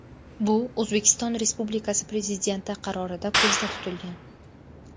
Bu O‘zbekiston Respubikasi Prezidenti qarorida ko‘zda tutilgan.